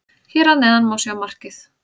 Hér að neðan má sjá markið.